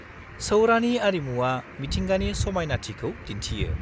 -सौरानि आरिमुआ मिथिंगानि समायनाथिखौ दिन्थियो।